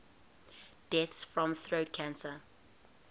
deaths from throat cancer